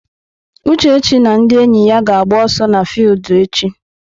Uchechi na ndị enyi ya ga-agba ọsọ n'fiudu echi.